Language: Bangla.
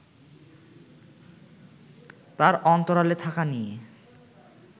তার অন্তরালে থাকা নিয়ে